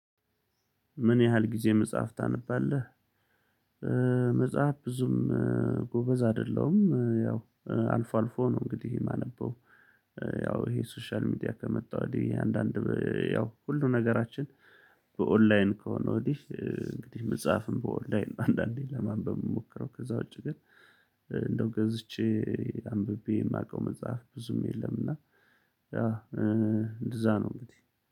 ምን ያህል ጊዜ መጽሐፍ ታነባለህ? መጽሐፍ ብዙም ጎበዝ አይደለሁም። ያው አልፎ አልፎ ነው እንግዲህ የማነበው። ያው ይሄ ሶሻል ሚዲያ ከመጣ ወዲህ አንዳንድ ያው ሁሉ ነገራችን በኦንላይን ከሆነ ወዲህ እንግዲህ መጻፍም በኦንላይን አንዳንዴ ለማንበብ የሚሞክረው። ከዛ ውጪ ግን እንደው ገዝቼ አንብቤ የማውቀው መጽሐፍ ብዙም የለም። እና ያ እንደዛ ነው እንግዲህ።